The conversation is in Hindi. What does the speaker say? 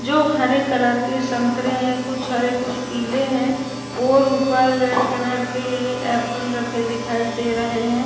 जो हरे कलर के संतरे हैं। कुछ हरे कुछ पीले हैं और उपर रेड कलर के एप्पल रखे दिखाई दे रहे हैं।